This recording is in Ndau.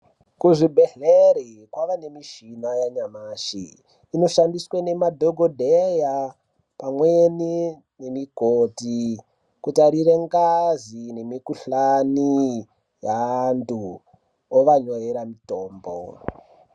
Kuzvibhedhleri kwaane michina yanyamashi inoshandiswe nemadhokodeya pamweni mikoti kutarire ngazi mukhuhlani yaantu ovanyorera mutombo.